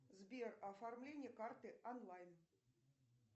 сбер оформление карты онлайн